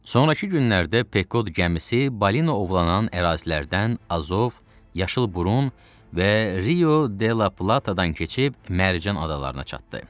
Sonrakı günlərdə Pekod gəmisi balina ovlanan ərazilərdən Azov, yaşıl burun və Rio de la Platadan keçib Mərcan adalarına çatdı.